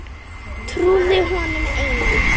Trúði honum einum.